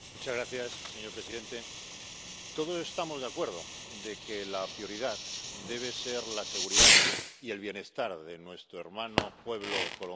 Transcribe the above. Señor presidente, todos estamos de acuerdo en que la prioridad debe ser la seguridad y el bienestar de nuestro hermano pueblo colombiano.